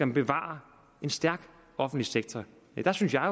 bevare en stærk offentlig sektor der synes jeg